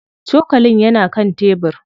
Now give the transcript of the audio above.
Cokalin yana kan tebir.